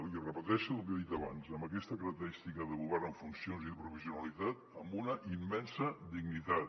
i repeteixo lo que he dit abans amb aquesta característica de govern en funcions i de provisionalitat amb una immensa dignitat